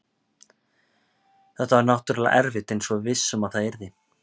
Þetta var náttúrulega erfitt eins og við vissum að það yrði.